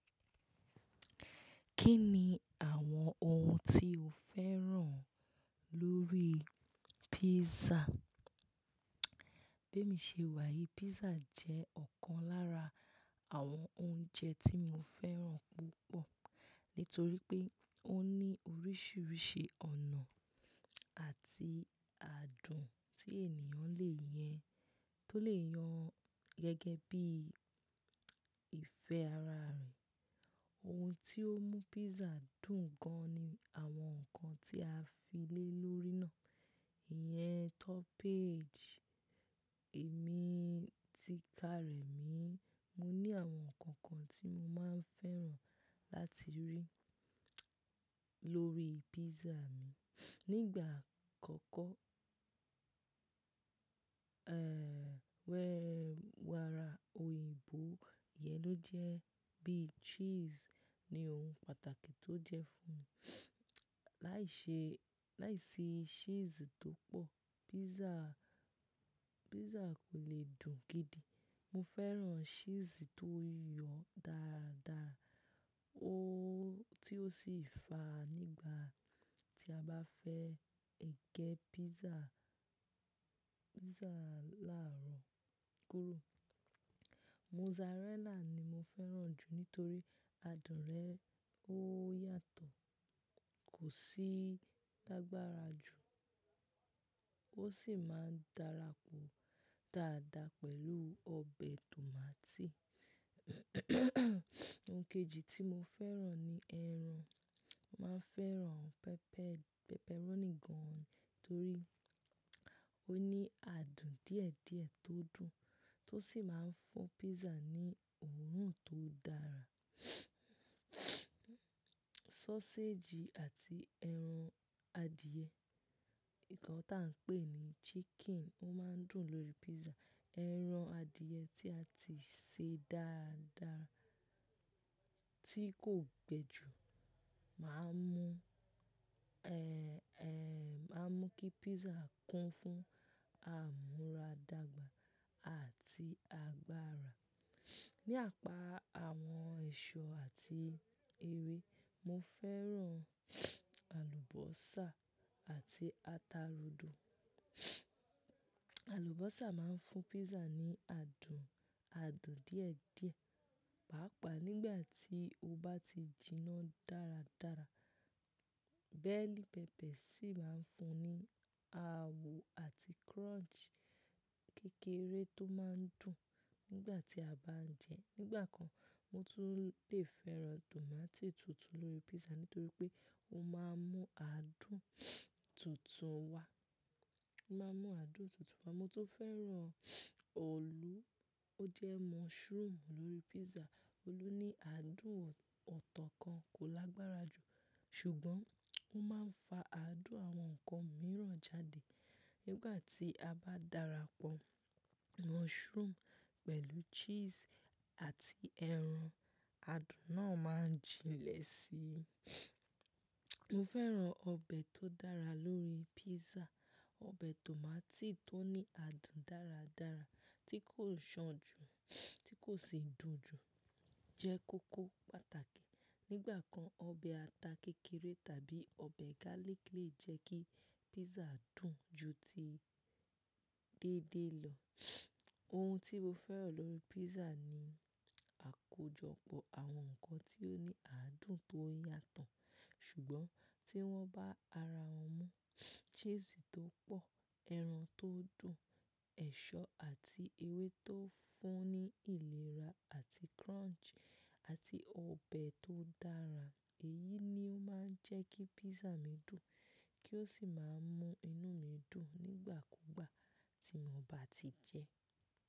Kí ni àwọn ohun tí o fẹ́ràn lórí pizza? Bẹ́ẹ̀ mi ṣe wà yí, pizza jẹ́ ọ̀kan lára àwọn oúnjẹ tí mo fẹ́ràn púpọ̀ nítorí pé ó ní oríṣiríṣi ọ̀nà àti àádùn tí ènìyàn lè yẹn tó lè yan gẹ́gẹ́ bí ìfẹ́ ara rẹ̀. Ohun tí ó mú pizza dùn gan-an ni àwọn nǹkan tí a fi lé lórí náà. Ìyẹn toppage èmi ti ka rẹ̀ mi. Mo ní àwọn nǹkan kan tí mo máa ń fẹ́ràn láti rí lórí pizza mi. Nígbà àkọ́kọ́, wẹ́ wàrà òyìnbó yẹn ló jẹ́ bí cheese ni ohun pàtàkì tó jẹ́ fún mi. Lai se Láìsí cheese tó pọ̀, pizza, pizza kò le dùn gidi. Mo fẹ́ràn cheese tó yọ dáadáa, o tí ó sì fà nígbà tí a bá fẹ́ egé pizza, pizza láàárọ̀ kúrò. Mozarella ni mo fẹ́ràn jù nítorí adùn rẹ̀ ó yàtọ̀, kò sí lágbára jù, ó sì máa ń darapọ̀ dáadáa pẹ̀lú ọbẹ̀ tòmátì. Ohun kejì tí mo fẹ́ràn ni ẹran. Màá fẹ́ràn pepperoni gan-an torí ó ní àádùn díẹ̀díẹ̀ tó dùn tó sì máa ń fún pizza ní òórùn tó dára. Sausage àti ẹran adìẹ, nǹkan tí à ń pè ní chicken, ó máa ń dùn lórí pizza. Ẹran adìẹ tí a ti ṣe dáadáa tí kò gbe jù máa ń mú máa ń mú kí pizza kún fún àmúra dàgbà àti agbára. Nípa àwọn ẹ̀ṣọ́ àti ewé, mo fẹ́ràn àlùbọ́sà àti ata rodo. Àlùbọ́sà máa ń fún pizza ní adùn adùn díẹ̀ díẹ̀, pàápàá nígbà tí o bá ti jiná dáradára. Bẹ́ẹ̀lì peppers sì máa ń fún ní àwò àti crunch kékeré tó máa ń dùn nígbà tí a bá ń jẹ. Nígbà kan, mo tún lè fẹ́ràn tòmátì tutù lórí pizza nítorí pé ó máa ń mú adùn tutùn wá. O máa ń mú adùn tutùn wá. Mo tó fẹ́ràn ọ̀lú, ó jẹ́ mushroom lórí pizza. Ọ̀lú ní adùn ọ̀tọ̀ kan, kò lágbára jù, ṣùgbọ́n ó máa ń fa adùn àwọn nǹkan mìíràn jáde nígbà tí a bá darapọ̀ mushroom pẹ̀lú cheese àti ẹran, adùn náà máa jinlẹ̀ síi. Mo fẹ́ràn ọbẹ̀ tó dára lórí pizza. Ọbẹ̀ tòmátì tó ní adùn dáradára tí kò ṣan jù, tí kò sì dùn jù jẹ́ kókó pàtàkì. Nígbà kan, ọbẹ̀ ata kékeré tàbí ọbẹ̀ garlic lè jẹ́ kí pizza dùn ju ti déédé lọ. Ohun tí mo fẹ́ràn lórí pizza ni àkójọpọ̀ àwọn nǹkan tí ó ní adùn tó yàtọ̀, ṣùgbọ́n tí wọ́n bá ara wọ́n mú. Cheese tó pọ̀, ẹran tó dùn, ẹ̀ṣọ́ àti ewé tó fún ní ìlera àti crunch àti ọbẹ̀ tó dára. Èyí ni ó máa ń jẹ́ kí pizza mi dùn kí ó sì máa ń mú inú mi dùn nígbà kúgbà tí mo bá ti jẹ.